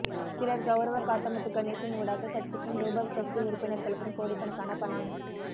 சிலர் கௌரவ காத்தமுத்து கணேசன் ஊடாக கட்சிக்கும்ரூபவ் கட்சி உறுப்பினர்களுக்கும் கோடிக்கணக்கான பணம்